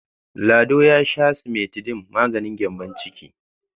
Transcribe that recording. Lado ya sha simetidin maganin gyambon ciki.